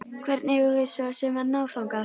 Hvernig eigum við svo sem að ná þangað?